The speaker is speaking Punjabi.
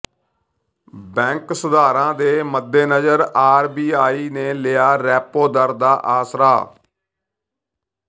ਬੈਂਕ ਸੁਧਾਰਾਂ ਦੇ ਮੱਦੇਨਜ਼ਰ ਆਰਬੀਆਈ ਨੇ ਲਿਆ ਰੈਪੋ ਦਰ ਦਾ ਆਸਰਾ